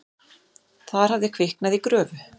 Þar hafði kviknað í gröfu.